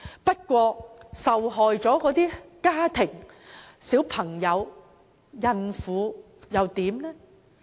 不過，受害的家庭、小孩子、孕婦又如何？